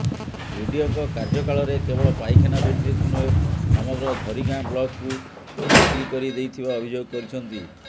ବିଡିଓଙ୍କ କାର୍ୟ୍ୟକାଳରେ କେବଳ ପାଇଖାନା ଦୁର୍ନୀତି ନୁହେଁ ସମଗ୍ର ଝରିଗାଁ ବ୍ଲକକୁ ବିକ୍ରି କରି ଦେଇଥିବା ଅଭିଯୋଗ କରିଛନ୍ତି